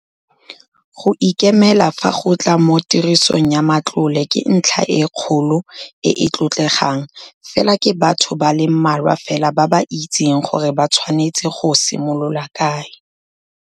Go ikemela fa go tla mo tirisong ya matlole ke ntlha e kgolo e e tlotlegang, fela ke batho ba le mmalwa fela ba ba itseng gore ba tshwanetse go simolola kae.